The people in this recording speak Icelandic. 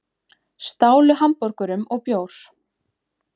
Stálu hamborgurum og bjór